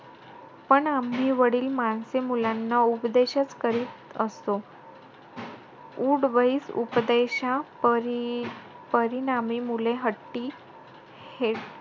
पण आम्ही वडील-माणसे मुलांना उपदेशचं करत असतो . उठ-बैस उपदेशपरी मुले हट्टी, हे,